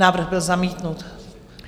Návrh byl zamítnut.